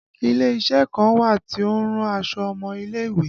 Ile isẹ kan wà tí ó ń rán aṣọ ọmọ ilé ìwé